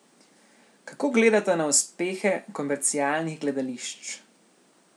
Kako gledata na uspehe komercialnih gledališč?